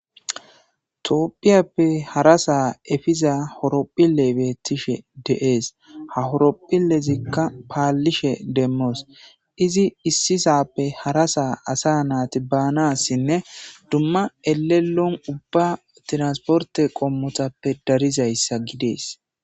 toopphiyappe hara sa efiza horopphille bettishe deees ha horopphillezikka paallishe demmoos izi issisappe hara saa asa naati baanassinne dumma elelon ubba tiransporte qommotappe darizayssa gidees